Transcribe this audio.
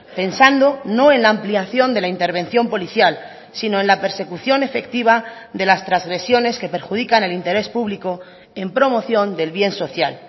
pensando no en la ampliación de la intervención policial sino en la persecución efectiva de las transgresiones que perjudican el interés público en promoción del bien social